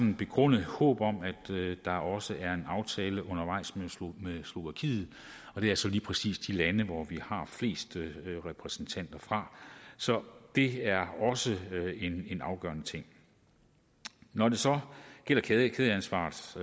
et begrundet håb om at der også er en aftale undervejs med slovakiet det er så lige præcis de lande vi har flest repræsentanter fra så det er også en afgørende ting når det så gælder kædeansvaret